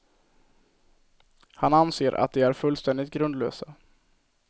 Han anser att de är fullständigt grundlösa.